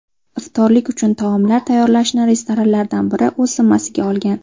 Iftorlik uchun taomlar tayyorlashni restoranlardan biri o‘z zimmasiga olgan.